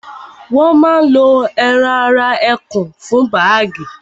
wọ́n ma lo ẹran ara ẹkùn fún bágì